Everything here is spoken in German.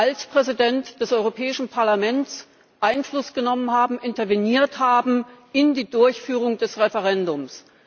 als Präsident des Europäischen Parlaments Einfluss genommen haben und interveniert haben in die Durchführung des Referendums.